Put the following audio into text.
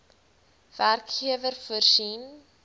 werkgewer voorsien